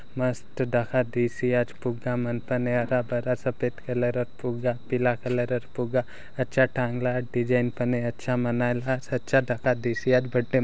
मस्त देखा दीसी आज फुगा मन तने आगाँ मन सपेद कलरर फुगा पिला कलरर फुगा आछा टांगला डिज़ाइन पने आछा मनाएला सचा देखा दीसी आज बड्डे मे --